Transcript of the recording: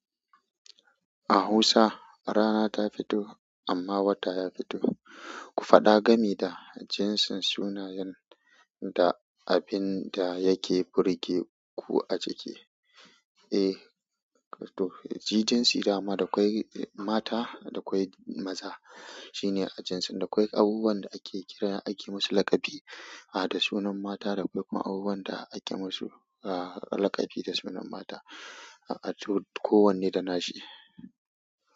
A hausa rana ta fito amma wata ya fito. Ku faɗa game da jinsin sunayen da abin da yake burge ku a cike. Eh, to shi jinsin dama da ƙwai mata da ƙwai maza shine a jinsin ɗin. Akwai abubuwan da ake kira ake musu laƙabi a da sunan mata, akwai kuma abubuwan da ake musu laƙabi da sunan mata, ko wanne da nashi.